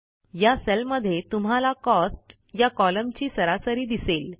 या सेलमध्ये तुम्हाला कॉस्ट या कॉलमची सरासरी दिसेल